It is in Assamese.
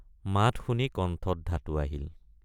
মাত শুনি কণ্ঠত ধাতু আহিল।